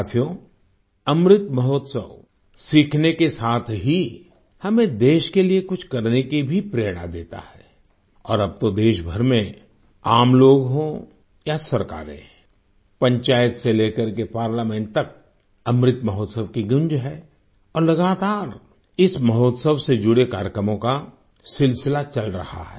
साथियो अमृत महोत्सव सीखने के साथ ही हमें देश के लिए कुछ करने की भी प्रेरणा देता है और अब तो देशभर में आम लोग हों या सरकारें पंचायत से लेकर पार्लामेंट तक अमृत महोत्सव की गूँज है और लगातार इस महोत्सव से जुड़े कार्यक्रमों का सिलसिला चल रहा है